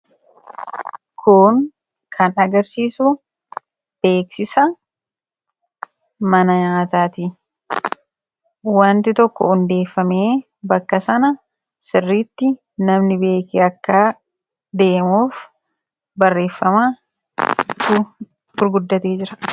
Kun kan agarsiisu beeksisa mana nyaataati. wanti tokko hundeeffamee bakka sana sirritti namni beekee akka deemuuf barreeffamaa gurguddatee jira.